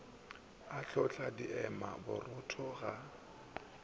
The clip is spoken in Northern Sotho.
o hlotla diema borutho ga